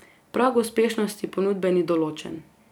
Prag uspešnosti ponudbe ni določen.